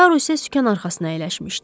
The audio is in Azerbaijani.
Taru isə sükan arxasına əyləşmişdi.